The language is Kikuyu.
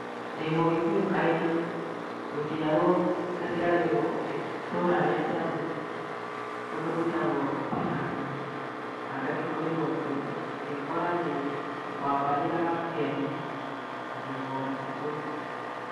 Ndĩ mũgĩkũyũ karĩng'a. Gũciarwo ngaciarĩrwo itũra rĩa kĩambu kũndũ gwĩtagwo ting'ang'a, Na ngagĩkũrĩra okuo, ngekora ndĩ wa mbarĩ ya Ngeni, na ndĩ mũgacikũ.